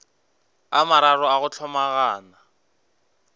a mararo a go hlomagana